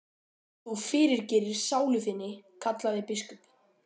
Þú fyrirgerir sálu þinni, kallaði biskup.